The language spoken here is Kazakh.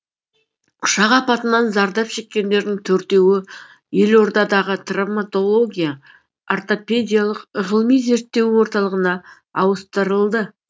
ұшақ апатынан зардап шеккендердің төртеуі елордадағы травматология ортопедиялық ғылыми зерттеу орталығына ауыстырылды